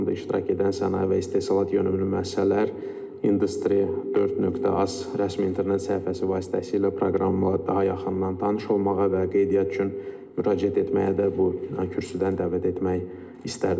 Forumda iştirak edən sənaye və istehsalat yönümlü müəssisələr Industry4.az rəsmi internet səhifəsi vasitəsilə proqramla daha yaxından tanış olmağa və qeydiyyat üçün müraciət etməyə də bu kürsüdən dəvət etmək istərdim.